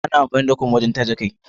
Ana amfani da kum wajen taje kai.